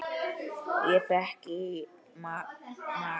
Ég fékk í magann.